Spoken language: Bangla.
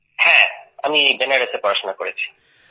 হ্যাঁ স্যার আমি বেনারসে পড়াশোনা করেছি